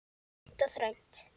Grænt og þröngt.